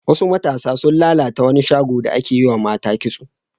Wasu matasa sun lalata wani shago da ake yiwa mata kitso.